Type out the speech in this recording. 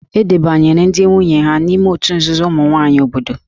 E debanyere ndị nwunye ha n'ime òtù nzuzo ụmụ nwaanyị obodo